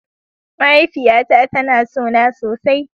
Mahaifiyata tana son na sosai.